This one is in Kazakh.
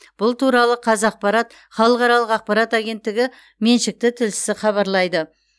бұл туралы қазақпарат халықаралық ақпарат агенттігі меншікті тілшісі хабарлайды